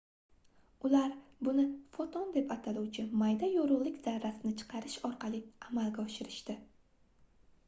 ular buni foton deb ataluvchi mayda yorugʻlik zarrasini chiqarish orqali amalga oshirishdi